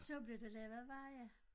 Så blev der lavet veje